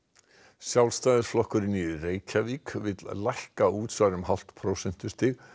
Sjálfstæðisflokkurinn í Reykjavík vill lækka útsvar um hálft prósentustig